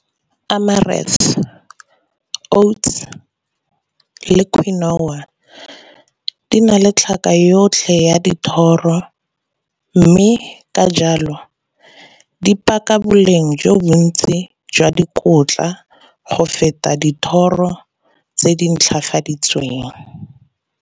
Emirates, oats, quinoa di na le tlhaka yotlhe ya dithoro, mme ka jalo di paka boleng jo bontsi jwa dikotla go feta dithoro tse di ntlhafaditsweng.